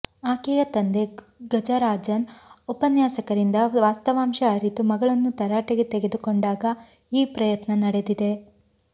ಆಕೆಯ ತಂದೆ ಗಜರಾಜನ್ ಉಪನ್ಯಾಸಕರಿಂದ ವಾಸ್ತವಾಂಶ ಅರಿತು ಮಗಳನ್ನು ತರಾಟೆಗೆ ತೆಗೆದು ಕೊಂಡಾಗ ಈ ಪ್ರಯತ್ನ ನಡೆದಿದೆ